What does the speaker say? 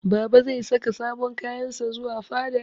Baba zai saka sabon kayan sa zuwa fada.